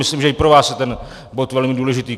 Myslím, že i pro vás je ten bod velmi důležitý.